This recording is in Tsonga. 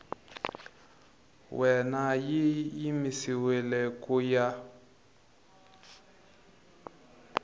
wena yi yimisiwile ku ya